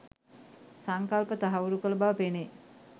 සංකල්ප තහවුරු කළ බව පෙනේ.